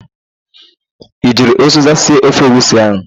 I jiri ụzịza sie ofe egwusi ahụ?